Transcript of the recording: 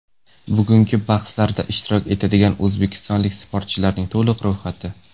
Bugungi bahslarda ishtirok etadigan o‘zbekistonlik sportchilarning to‘liq ro‘yxati.